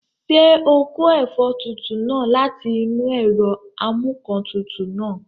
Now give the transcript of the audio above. Ṣé o kó ẹ̀fọ́ tútù náà láti inú ẹ̀rọ amúǹkantutù náà?